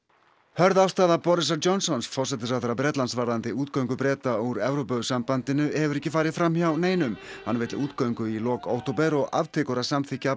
hörð afstaða Borisar Johnsons forsætisráðherra Bretlands varðandi útgöngu Breta úr Evrópusambandinu hefur ekki farið fram hjá neinum hann vill útgöngu í lok október og aftekur að samþykkja